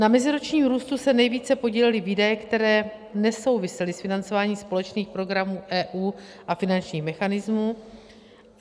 Na meziročním růstu se nejvíce podílely výdaje, které nesouvisely s financováním společných programů EU a finančních mechanismů.